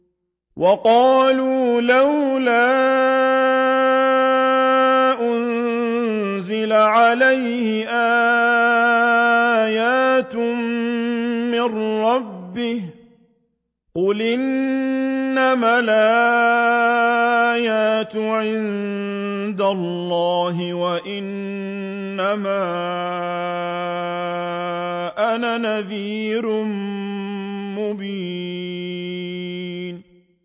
وَقَالُوا لَوْلَا أُنزِلَ عَلَيْهِ آيَاتٌ مِّن رَّبِّهِ ۖ قُلْ إِنَّمَا الْآيَاتُ عِندَ اللَّهِ وَإِنَّمَا أَنَا نَذِيرٌ مُّبِينٌ